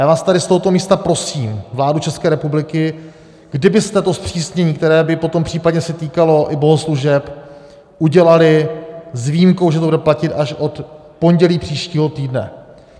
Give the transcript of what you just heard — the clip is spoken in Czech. Já vás tady z tohoto místa prosím, vládu České republiky, kdybyste to zpřísnění, které by potom případně se týkalo i bohoslužeb, udělali s výjimkou, že to bude platit až od pondělí příštího týdne.